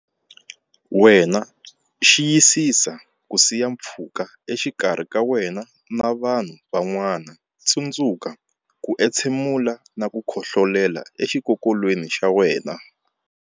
Wena Xiyisisa ku siya mpfhuka exikarhi ka wena na vanhu van'wana Tsundzuka ku entshemula na ku khohlolela exikokolweni xa wena.